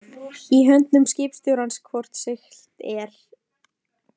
Í höndum skipstjórans hvort siglt er